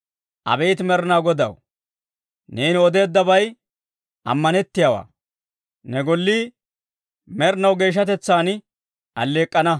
Abeet Med'inaa Godaw, neeni odeeddabay ammanettiyaawaa; ne gollii med'inaw geeshshatetsaan aleek'k'ana.